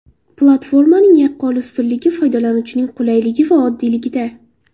Platformaning yaqqol ustunligi foydalanishning qulayligi va oddiyligida.